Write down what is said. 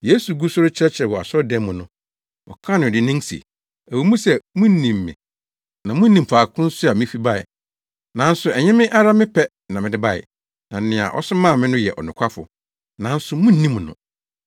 Yesu gu so rekyerɛkyerɛ wɔ asɔredan mu no, ɔkaa no dennen se, “Ɛwɔ mu sɛ munim me na munim faako nso a mifi bae, nanso ɛnyɛ me ara me pɛ na mede bae, na nea ɔsomaa me no yɛ ɔnokwafo, nanso munnim no;